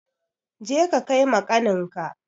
Je ka kai ma ƙaninka!